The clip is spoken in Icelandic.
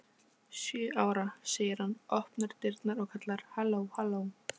Sjö ára, segir hann, opnar dyrnar og kallar: halló halló